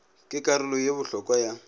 ke karolo ye bohlokwa ya